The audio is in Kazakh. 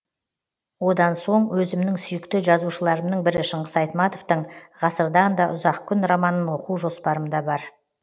одан соң өзімнің сүйікті жазушыларымның бірі шыңғыс айтматовтың ғасырдан да ұзақ күн романын оқу жоспарымда бар